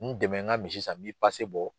N dɛmɛ n ka misi san n b'i bɔ.